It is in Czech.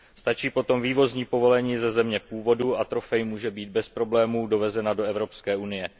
Stačí potom vývozní povolení ze země původu a trofej může být bez problémů dovezena do Evropské unie.